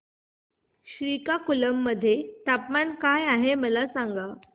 श्रीकाकुलम मध्ये तापमान काय आहे मला सांगा